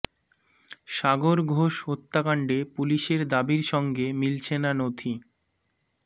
সাগর ঘোষ হত্যাকাণ্ডে পুলিসের দাবির সঙ্গে মিলছে না নথি